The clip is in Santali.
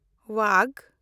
ᱣᱟᱜᱷ